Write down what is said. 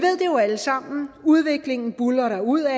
alle sammen udviklingen buldrer derudad